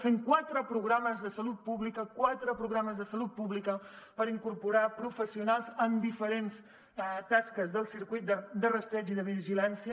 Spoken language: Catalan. hem fet quatre programes de salut pública quatre programes de salut pública per incorporar professionals a diferents tasques del circuit de rastreig i de vigilància